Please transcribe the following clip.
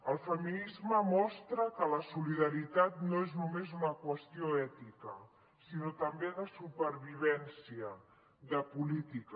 el feminisme mostra que la solidaritat no és només una qüestió ètica sinó que també de supervivència de política